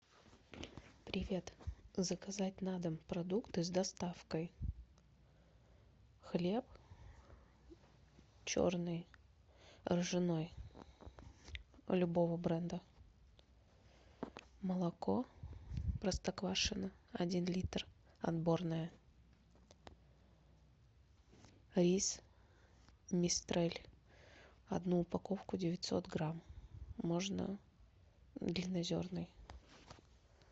привет заказать на дом продукты с доставкой хлеб черный ржаной любого бренда молоко простоквашино один литр отборное рис мистраль одну упаковку девятьсот грамм можно длиннозерный